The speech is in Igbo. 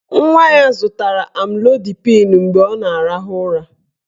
Nwa ya zụtara amlodipịn mgbe ọ na-arahụ ụra.